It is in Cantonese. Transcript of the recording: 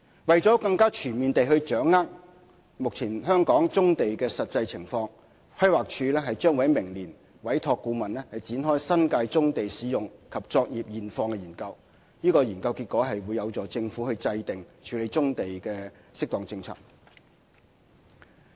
為了更全面地掌握目前香港棕地的實際情況，規劃署將於明年委託顧問，展開新界棕地使用及作業現況的研究，其結果將有助政府制訂適當處理棕地的政策。